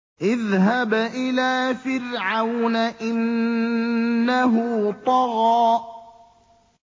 اذْهَبْ إِلَىٰ فِرْعَوْنَ إِنَّهُ طَغَىٰ